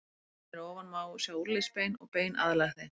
Á myndinni hér að ofan má sjá úlnliðsbein og bein aðlæg þeim.